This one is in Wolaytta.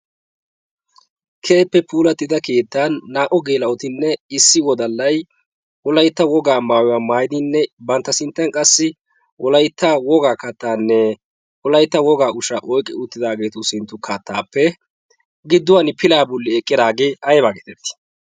keehippe puulatida keettan naa77o geela7otinne issi wodallai olaitta wogaa maayuwaa maaidinne bantta sinttan qassi olaitta wogaa kattaanne olaitta wogaa ushaa oiqqi uttidaageetu sintta kattaappe gidduwan pilaa bulli eqqidaagee aibaa geetettii?